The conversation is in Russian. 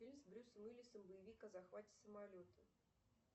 фильм с брюсом уиллисом боевик о захвате самолета